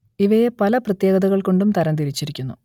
ഇവയെ പല പ്രത്യേകതകൾ കൊണ്ടും തരം തിരിച്ചിരിക്കുന്നു